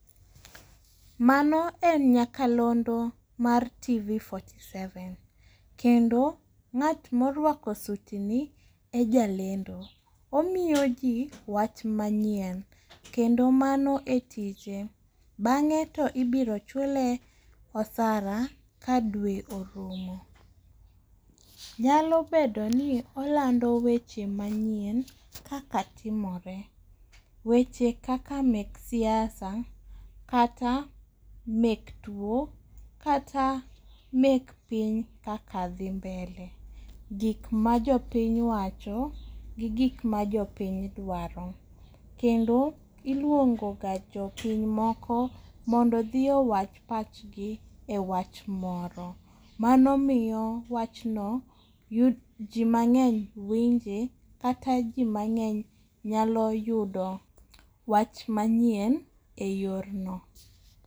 Mano en nyakalondo mar tv piero ang'wen gi abiriyo kendo ng'at ma oruako sutni e jalendo. Omiyoji wach manyien kendo mano e tije bang'e to ibiro chule osara ka dwe orumo. Nyalo bedo ni olando weche manyien kaka timore. Weche kaka mek siasa kata mek tuo kata mekpiny kaka dhi mbele. Gik majopiny wacho gi gik majopiny dwaro. Kendo iluongo ga jopiny moko mondo odhi owach pachgi ewach moro. Mano miyo wach no yu ji mang'eny winje kata ji mang'eny nyalo yudo wach manyien e yorno.